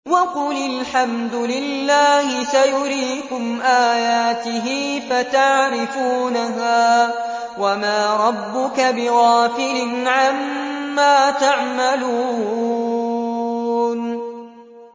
وَقُلِ الْحَمْدُ لِلَّهِ سَيُرِيكُمْ آيَاتِهِ فَتَعْرِفُونَهَا ۚ وَمَا رَبُّكَ بِغَافِلٍ عَمَّا تَعْمَلُونَ